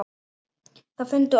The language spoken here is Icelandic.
Það fundu allir.